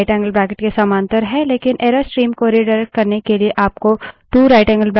इसलिए> rightangle bracket 1> के समांतर है